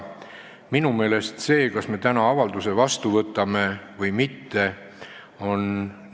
Minu meelest see, kas me täna avalduse vastu võtame või mitte, on tähtis.